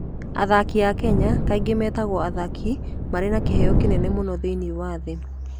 Athaki a Kenya kaingĩ metagwo athaki marĩ na kĩheo kĩnene mũno thĩinĩ wa thĩ.